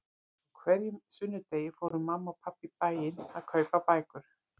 Á hverjum sunnudegi fóru mamma og pabbi í bæinn að kaupa bækur.